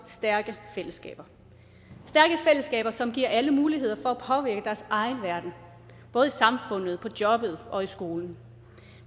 stærke fællesskaber som giver alle muligheder for at egen verden både i samfundet på jobbet og i skolen